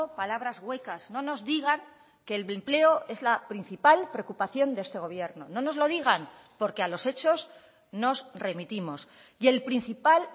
palabras huecas no nos digan que el empleo es la principal preocupación de este gobierno no nos lo digan porque a los hechos nos remitimos y el principal